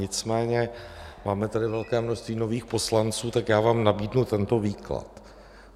Nicméně máme tady velké množství nových poslanců, tak já vám nabídnu tento výklad.